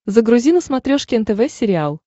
загрузи на смотрешке нтв сериал